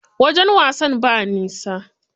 Wajen wasan ba nisa.